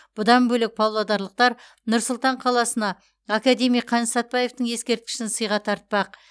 бұдан бөлек павлодарлықтар нұр сұлтан қаласына академик қаныш сәтбаевтың ескерткішін сыйға тартпақ